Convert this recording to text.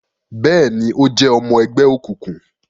Bẹẹni, o jẹ ọmọ ẹgbẹ òkùnkùn